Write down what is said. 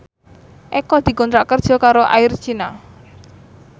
Eko dikontrak kerja karo Air China